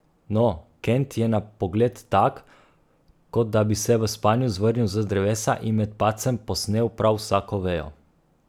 No, Kent je na pogled tak, kot da bi se v spanju zvrnil z drevesa in med padcem posnel prav vsako vejo.